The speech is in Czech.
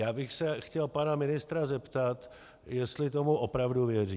Já bych se chtěl pana ministra zeptat, jestli tomu opravdu věří.